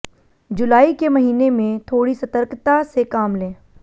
जुलाई के महीने में थोड़ी सतर्कता से काम लें